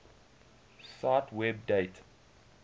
cite web date